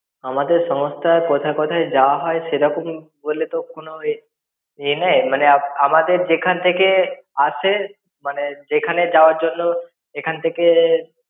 আমাদের সংস্থায় কোথায় কোথায় যাওয়া হয়, সেরকম বলে কোন এ এ নেই। মানে আমাদের যেখান থেকে আসে, মানে যেখানে যাওয়ার জন্য এখান থেকে